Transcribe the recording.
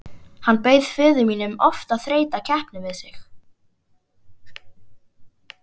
Hann bauð föður mínum oft að þreyta keppni við sig.